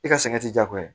I ka sɛgɛn ti jagoya ye